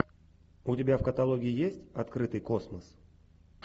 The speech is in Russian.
у тебя в каталоге есть открытый космос